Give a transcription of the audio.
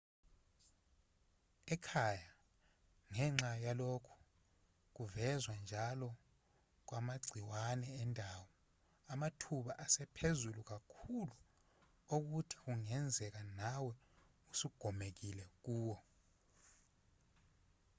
ekhaya ngenxa yalokhu kuvezwa njalo kwamagciwane endawo amathuba asephezulu kakhulu okuthi kungenzeka nawe usugomekile kuwo